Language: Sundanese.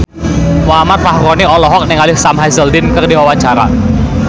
Muhammad Fachroni olohok ningali Sam Hazeldine keur diwawancara